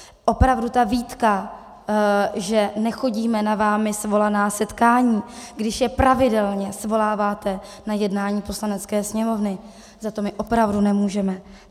Opravdu ta výtka, že nechodíme na vámi svolaná setkání, když je pravidelně svoláváte na jednání Poslanecké sněmovny, za to my opravdu nemůžeme.